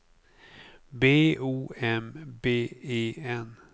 B O M B E N